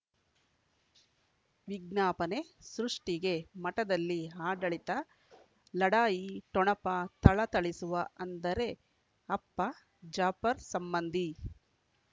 ವಿಜ್ಞಾಪನೆ ಸೃಷ್ಟಿಗೆ ಮಠದಲ್ಲಿ ಆಡಳಿತ ಲಢಾಯಿ ಠೊಣಪ ಥಳಥಳಿಸುವ ಅಂದರೆ ಅಪ್ಪ ಜಾಫರ್ ಸಂಬಂಧಿ